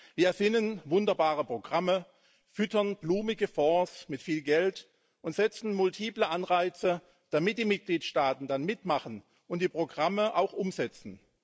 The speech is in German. Wir erfinden wunderbare Programme, füttern blumige Fonds mit viel Geld und setzen multiple Anreize, damit die Mitgliedstaaten dann mitmachen und die Programme auch umsetzen.